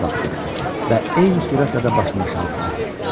Toma baxdı və eyni sürətlə də başını aşağı saldı.